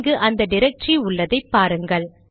இங்கு அந்த டிரக்டரி உள்ளதை பாருங்கள்